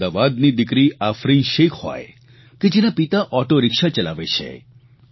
અમદાવાદની દિકરી આફરીન શેખ હોય કે જેના પિતા ઓટોરીક્ષા ચલાવે છે